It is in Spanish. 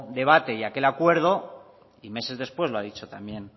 debate y aquel acuerdo y meses después lo ha dicho también